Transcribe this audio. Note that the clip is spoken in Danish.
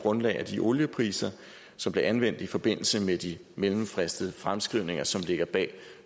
grundlag af de oliepriser som blev anvendt i forbindelse med de mellemfristede fremskrivninger som ligger bag